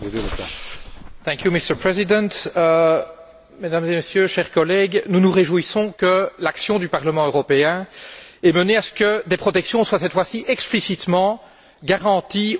Monsieur le Président, Mesdames et Messieurs, chers collègues, nous nous réjouissons que l'action du Parlement européen ait permis que des protections soient cette fois ci explicitement garanties aux usagers de l'internet.